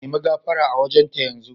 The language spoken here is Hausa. Nemi gafara a wajen ta yanzu.